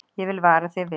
Ég vil vara þig við.